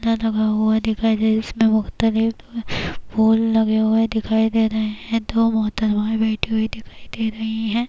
دبا ہوا دکھائی دے رہا ہے اس میں مختلف پھول لگے ہوئے دکھائی دے رہے ہیں دو محترمہ ہیں بیٹھی ہوئی دکھائی دے رہی ہیں-